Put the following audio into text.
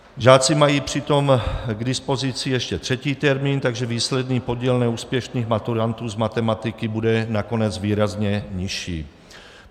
Žáci mají přitom k dispozici ještě třetí termín, takže výsledný podíl neúspěšných maturantů z matematiky bude nakonec výrazně nižší.